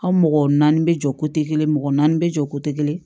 Aw mɔgɔ naani bɛ jɔ kelen mɔgɔ naani bɛ jɔ kelen